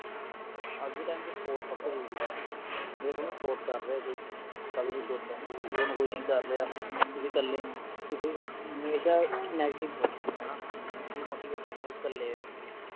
ਅੱਜ ਦੇ time ਚ support ਸਭ ਤੋਂ ਜਰੂਰੀ ਹੈ ਜੇ ਤੁਹਾਨੂੰ support ਕਰ ਰਿਹਾ ਹੈ ਕੋਈ ਤਾਂ ਤੁਸੀਂ good ਹੋਂ ਜੇ ਤੁਹਾਨੂੰ ਕੋਈ ਨਹੀਂ ਕਰ ਰਿਹਾ ਤੁਸੀਂ ਕੱਲੇ ਹੋ ਤੁਸੀਂ ਹਮੇਸ਼ਾ negative ਸੋਚੋਂਗੇ ਹਣਾ demotivate ਹੋਵੋਂਗੇ ਕੱਲੇ ਰਹਿ ਕੇ